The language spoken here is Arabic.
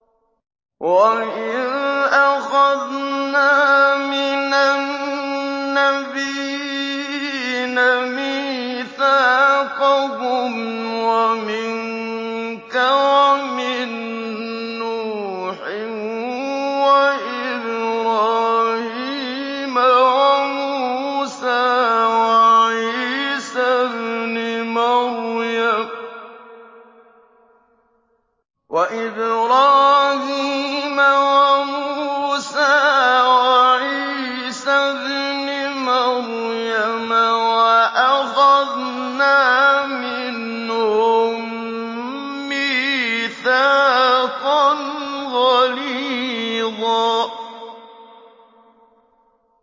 وَإِذْ أَخَذْنَا مِنَ النَّبِيِّينَ مِيثَاقَهُمْ وَمِنكَ وَمِن نُّوحٍ وَإِبْرَاهِيمَ وَمُوسَىٰ وَعِيسَى ابْنِ مَرْيَمَ ۖ وَأَخَذْنَا مِنْهُم مِّيثَاقًا غَلِيظًا